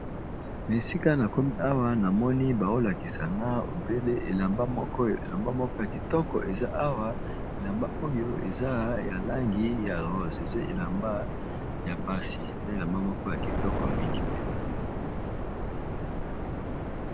Na esika na komi awa, na moni bao lakisa nga obele elamba moko ya kitoko eza awa. Elamba oyo, eza ya langi ya rose. Eza elamba ya basi, eza elamba moko ya kitoko mingi mpenza.